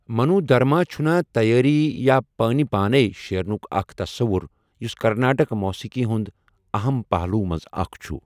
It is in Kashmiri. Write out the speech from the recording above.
منو دھرما چھُنا تیٲری یا پٲنۍ پانے شیٚرنُک اکھ تَصَوُر یُس کرناٹک موسیقی ہنٛدۍ اَہَم پہلوو منٛز اکھ چھُ۔